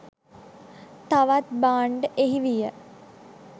තවත් භාණ්ඩ එහි විය.